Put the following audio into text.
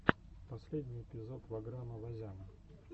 последний эпизод ваграма вазяна